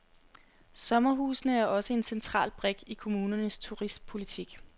Sommerhusene er også en central brik i kommunernes turistpolitik.